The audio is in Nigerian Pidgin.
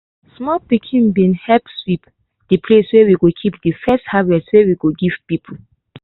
small pikin bin help sweep de place where we go keep de first harvest wey we go give people.